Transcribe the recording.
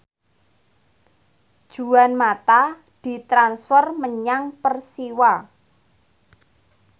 Juan mata ditransfer menyang Persiwa